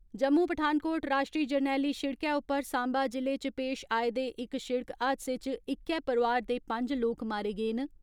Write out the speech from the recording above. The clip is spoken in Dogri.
जम्मू पठानकोट राश्ट्री जरनैली शिड़कै उप्पर सांबा जि'ले च पेश आए दे इक शिड़क हादसे च इक्कै परोआर दे पंज लोक मारे गे न।